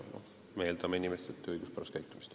Me eeldame inimestelt õiguspärast käitumist.